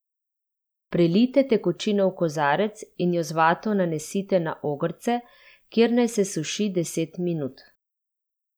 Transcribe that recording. Prelijte tekočino v kozarec in jo z vato nanesite na ogrce, kjer naj se suši deset minut.